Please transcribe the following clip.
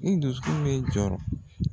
I dusukun bɛ jɔrɔ.